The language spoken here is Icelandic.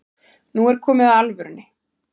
Nú er komið að alvörunni